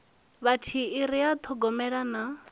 vhathihi ri a ṱhogomela na